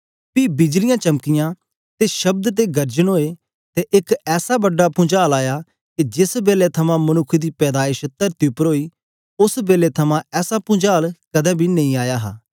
पी बिजलियां चमकीयां ते शब्द ते गर्जन ओए ते एक ऐसा बड़ा पुंचाल आया के जेस बेलै थमां मनुक्ख दी पैदाइश तरती उपर ओई ओस बेलै थमां ऐसा पुंचाल कदें बी नेई आया हा